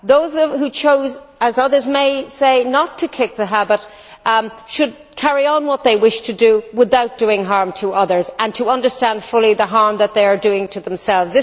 Those who chose, as others may say, not to kick the habit should carry on with what they wish to do, without doing harm to others, and understand fully the harm that they are doing to themselves.